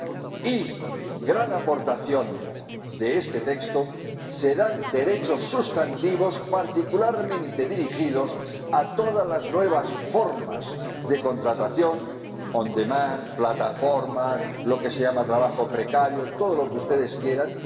Y la gran aportación de este texto se dan derechos sustantivos particularmente dirigidos a todas las nuevas formas de contratación on demand plataformas, lo que se llama trabajo precario, todo lo que ustedes quieran—.